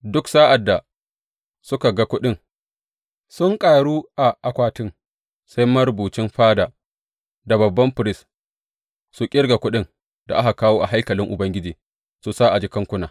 Duk sa’ad da suka ga kuɗin sun ƙaru a akwatin, sai marubucin fada da babban firist, su ƙirga kuɗin da aka kawo a haikalin Ubangiji su sa a jakankuna.